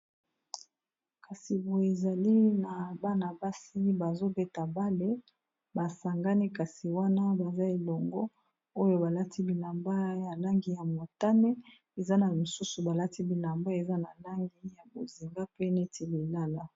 Kasi bo ezali na bana basi bazobeta bale basangani kasi wana baza elongo oyo balati bilamba ya langi ya motane eza na mosusu balati bilamba eza na langi ya bozinga pe neti lilala.